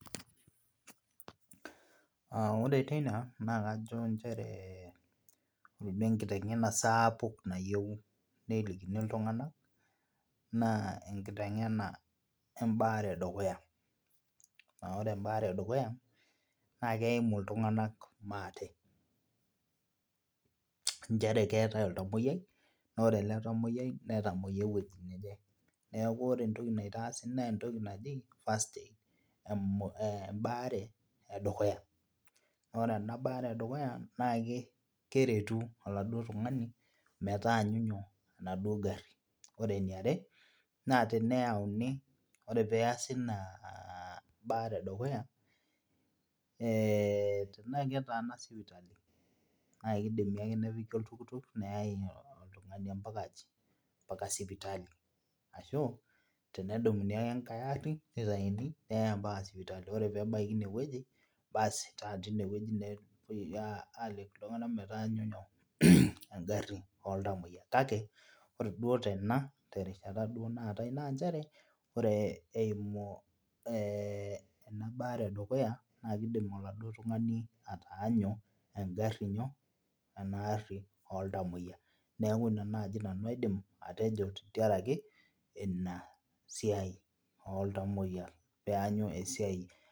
Uh ore teina naa kajo nchere miba enkiteng'ena sapuk nayieu nelikini iltung'anak naa enkiteng'ena embaare edukuya aore embaare edukuya naa keimu iltung'anak maate inchere keetae oltamoyiai naore ele tamoyiai netamoyia ewoji neje neeku ore entoki naitaasi nentoki naji first aid embaare edukuya naore ena baare edukuya naake keretu oladuo tung'ani metaanyu nyoo enaduo garri ore eniare naa teneyauni ore peasi ina baare edukuya eh naa ketaana sipitali naa kidimi ake nepiki oltuktuk neyai oltung'ani ampaka aji, ampaka sipitali ashu tenedumuni ake enkae arri nitaini neyae ampaka sipitali ore pebaikini ineweji basi taa tine wueji naa epuoi aliki iltung'ana metaanyu inyoo engarri oltamoyia kake ore duo tena terishata duo naatae nanchere ore eimu eh ena baare edukuya naa kidim oladuo tung'ani ataanyu engarri inyoo ena arri oltamoyia niaku ina naaji nanu aidim atejo tentiarake ina siai oltamoyia pianyu esiai.